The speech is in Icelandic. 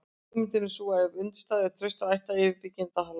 hugmyndin er sú að ef undirstöðurnar eru traustar ætti yfirbyggingin að haldast